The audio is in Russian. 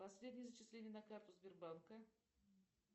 последние зачисления на карту сбербанка